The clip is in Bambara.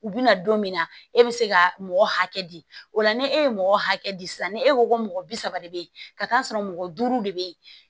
U bɛna don min na e bɛ se ka mɔgɔ hakɛ di o la ni e ye mɔgɔ hakɛ di sisan ni e ko ko mɔgɔ bi saba de bɛ yen ka t'a sɔrɔ mɔgɔ duuru de bɛ yen